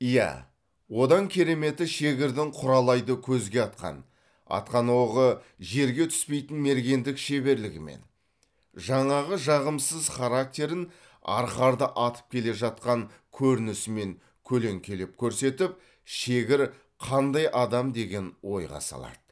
иә одан кереметі шегірдің құралайды көзге атқан атқан оғы жерге түспейтін мергендік шеберлігімен жаңағы жағымсыз характерын арқарды атып келе жатқан көрінісімен көлеңкелеп көрсетіп шегір қандай адам деген ойға салады